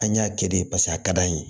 An y'a kɛ de paseke a ka d'an ye